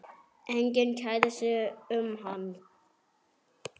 Enginn kærði sig um hann.